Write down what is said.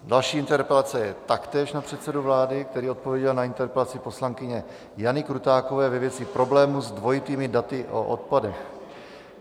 Další interpelace je taktéž na předsedu vlády, který odpověděl na interpelaci poslankyně Jany Krutákové ve věci problémů s dvojitými daty o odpadech.